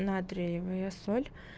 натриевая соль